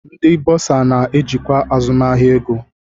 Ndị bọrzà na-ejikwa azụmahịa ego.